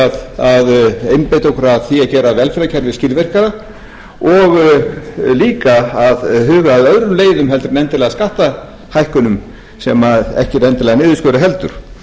að einbeita okkur að því að gera velferðarkerfið skilvirkara og líka að huga að öðrum leiðum heldur en endilega skattahækkunum sem ekki er endilega niðurstaða heldur